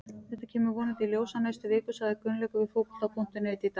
Þetta kemur vonandi í ljós á næstu vikum, sagði Gunnlaugur við Fótbolta.net í dag.